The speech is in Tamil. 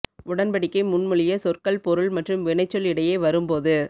உடன்படிக்கை முன்மொழிய சொற்கள் பொருள் மற்றும் வினைச்சொல் இடையே வரும் போது